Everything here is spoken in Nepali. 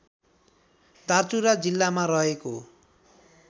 दार्चुला जिल्लामा रहेको